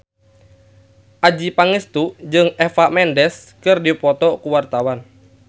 Adjie Pangestu jeung Eva Mendes keur dipoto ku wartawan